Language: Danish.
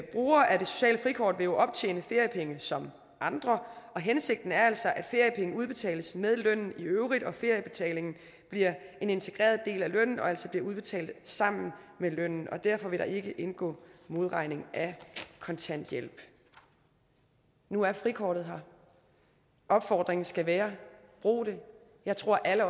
brugere af det sociale frikort vil jo optjene feriepenge som andre og hensigten er altså at feriepenge udbetales med lønnen i øvrigt feriebetalingen bliver en integreret del af lønnen og bliver altså udbetalt sammen med lønnen og derfor vil der ikke indgå modregning af kontanthjælp nu er frikortet her opfordringen skal være brug det jeg tror at alle